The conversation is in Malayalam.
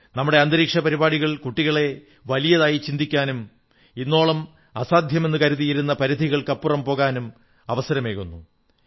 നമ്മുടെ ബഹിരാകാശ പരിപാടികൾ കുട്ടികളെ വലിയതായി ചിന്തിക്കാനും ഇന്നോളം അസാധ്യമെന്നു കരുതിയിരുന്ന പരിധികൾക്കപ്പുറം പോകാനും അവസരമേകുന്നു